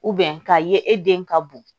ka ye e den ka bon